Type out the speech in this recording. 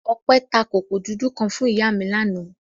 Ọpẹ́ ta kòkó dúdú kan fún ìyá mi lánàá.